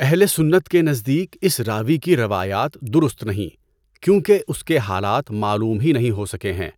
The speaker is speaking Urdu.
اہل سنت کے نزدیک اس راوی کی روایات درست نہیں کیونکہ اس کے حالات معلوم ہی نہیں ہو سکے ہیں